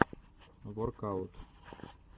воркаут